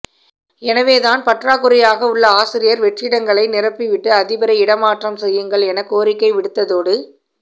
எனவேதான் பற்றாக்குறையாக உள்ள ஆசிரியர் வெற்றிடங்களை நிரப்பிவிட்டு அதிபரை இடமாற்றம் செய்யுங்கள் எனக் கோரிக்கை விடுத்ததோடு